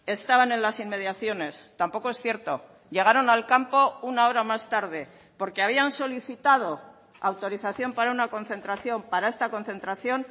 estaban en las inmediaciones tampoco es cierto llegaron al campo una hora más tarde porque habían solicitado autorización para una concentración para esta concentración